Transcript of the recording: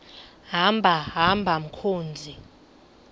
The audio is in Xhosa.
hamba hamba mkhozi